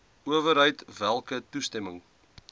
owerheid welke toestemming